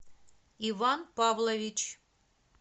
иван павлович